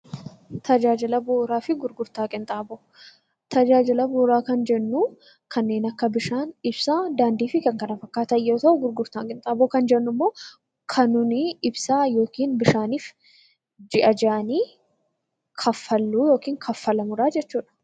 Tajaajila bu'uuraa fi gurgurtaa qinxaaboo. Tajaajila bu'uuraa kan jennuu kanneen akka bishaan, daandii, ibsaa fi kan kana fakkaatan yammuu ta'u; gurgurtaa qinxaaboo jechuun immoo kan nuti ibsaa yookiin bishaaniif ji'a ji'an kaffalluudha yookiin kaffalamuudha jechuudha.